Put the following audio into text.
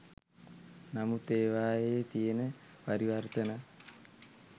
නමුත් ඒවායේ තියෙන පරිවර්තන